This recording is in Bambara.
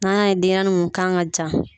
N'an y'a ye denɲɛrɛnin mun kan ka jan